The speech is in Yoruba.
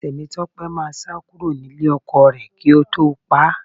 Tèmítọ́pẹ́ máa sá kúrò nílé ọkọ rẹ̀ kí ó tó pá a